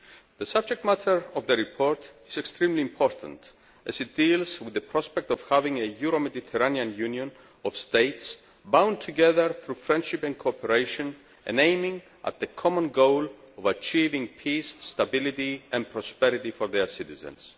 The subject matter of the report is extremely important as it deals with the prospect of having a Euro Mediterranean Union of states bound together through friendship and cooperation and aiming at the common goal of achieving peace, stability and prosperity for their citizens.